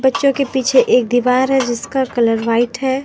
बच्चों के पीछे एक दीवार है जिसका कलर व्हाइट है।